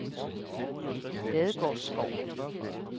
Ladegårdsskov